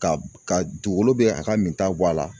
Ka ka dugukolo bɛ a ka min ta bɔ a la